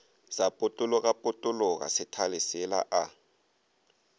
sa potologapotologa sethale sela a